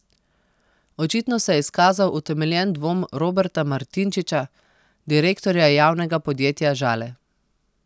Očitno se je izkazal utemeljen dvom Roberta Martinčiča, direktorja javnega podjetja Žale.